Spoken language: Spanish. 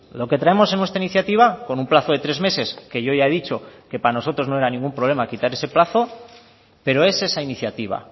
lo que traemos en nuestra iniciativa con un plazo de tres meses que yo ya he dicho que para nosotros no era ningún problema quitar ese plazo pero es esa iniciativa